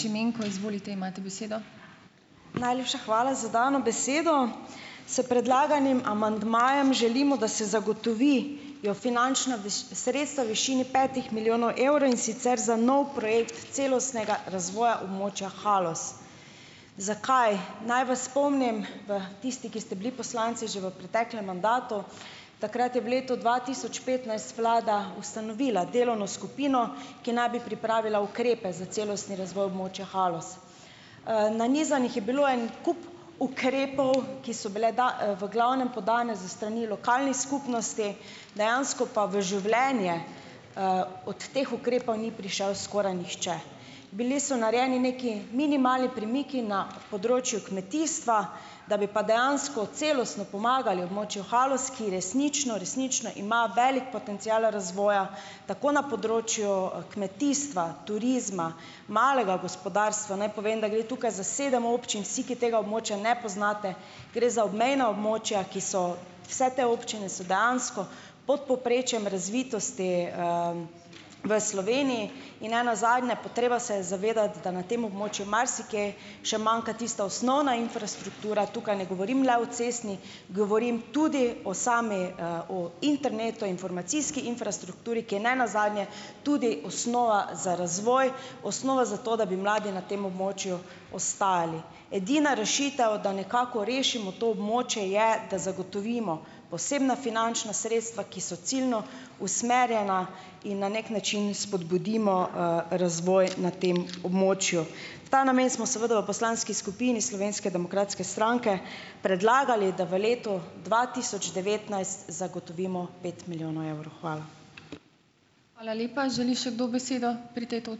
Čemenko, izvolite , imate besedo. Najlepša hvala za dano besedo. S predlaganim amandmajem želimo, da se zagotovi jo finančna sredstva višini petih milijonov evrov, in sicer za nov projekt celostnega razvoja območja Haloz. Zakaj? Naj vas spomnim, da tisti, ki ste bili poslanci že v preteklem mandatu, takrat je v letu dva tisoč petnajst vlada ustanovila delovno skupino, ki naj bi pripravila ukrepe za celostni razvoj območja Haloz. nanizanih je bilo en kup ukrepov, ki so bile v v glavnem podane z strani lokalnih skupnosti, dejansko pa v življenje, od teh ukrepov ni prišel skoraj nihče. Bili so narejeni neki minimalni premiki na področju kmetijstva, da bi pa dejansko celostno pomagali območju Haloz, ki resnično, resnično ima veliko potencial razvoja, tako na področju, kmetijstva, turizma, malega gospodarstva, naj povem, da gre tukaj za sedem občin, vsi, ki tega območja ne poznate, gre za obmejna območja, ki so, vse te občine so dejansko pod povprečjem razvitosti, v Sloveniji in ne nazadnje, potreba se je zavedati, da na tem območju marsikje še manjka tista osnovna infrastruktura , tukaj ne govorim le o cestni, govorim tudi o sami, o internetu, informacijski infrastrukturi, ki je nenazadnje tudi osnova za razvoj, osnova za to, da bi mladi na tem območju ostajali. Edina rešitev, da nekako rešimo to območje, je, da zagotovimo posebna finančna sredstva, ki so ciljno usmerjena, in na neki način spodbudimo, razvoj na tem območju. V ta namen smo seveda v poslanski skupini Slovenske demokratske stranke predlagali, da v letu dva tisoč devetnajst zagotovimo pet milijonov evrov. Hvala. Hvala lepa. Želi še kdo besedo pri tej